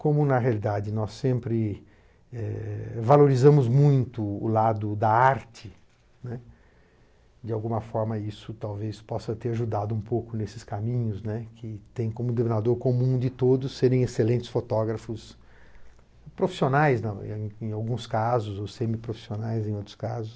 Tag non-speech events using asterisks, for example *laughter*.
Como, na realidade, nós sempre, eh, valorizamos muito o lado da arte, né, de alguma forma isso talvez possa ter ajudado um pouco nesses caminhos, né, que tem como denominador comum de todos serem excelentes fotógrafos profissionais, *unintelligible* em alguns casos, ou semiprofissionais em outros casos.